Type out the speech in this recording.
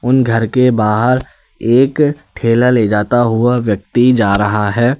उन घर के बाहर एक ठेला ले जाता हुआ व्यक्ति जा रहा है।